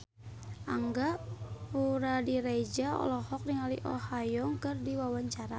Angga Puradiredja olohok ningali Oh Ha Young keur diwawancara